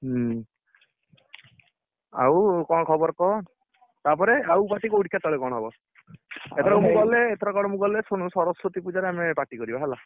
ହୁଁ ଆଉ କଣ ଖବର କହ? ତାପରେ ଆଉ party କୋଉଠୀ କେତେବେଳେ ହବ? ଏଥରକ ମୁଁ ଗଲେ ଆଉ ହେଇନି ଏଥରକ ମୁଁ ଗଲେ ଶୁଣୁ ସରସ୍ୱତୀ ପୂଜା ରେ ଆମେ party କରିବା ହେଲା